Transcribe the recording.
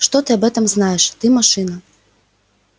что ты об этом знаешь ты машина